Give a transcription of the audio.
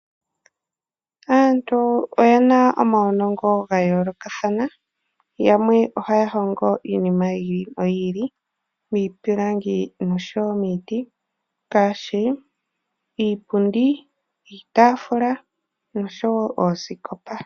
Aantu oye na omawunongo gayoolokathana yamwe ohaya hongo iinima yi ili noyi ili miipilangi oshowo miiti ngaashi iipundi, iitaafula noshowo oosikopa.